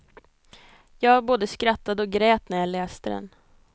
Jag både skrattade och grät när jag läste den.